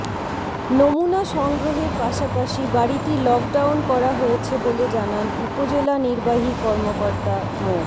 নমুনা সংগ্রহের পাশাপাশি বাড়িটি লকডাউন করা হয়েছে বলে জানান উপজেলা নির্বাহী কর্মকর্তা মো